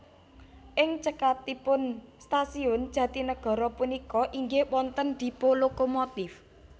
Ing caketipun stasiun Jatinagara punika inggih wonten dipo lokomotif